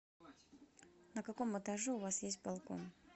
на каком этаже у вас есть балкон